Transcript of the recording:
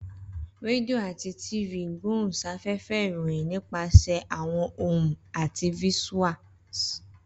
Radio ati TV igbohunsafefe iroyin nipasẹ awọn ohun ati visuals